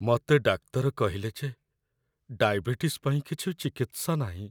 ମତେ ଡାକ୍ତର କହିଲେ ଯେ ଡାଇବେଟିସ୍ ପାଇଁ କିଛି ଚିକିତ୍ସା ନାହିଁ ।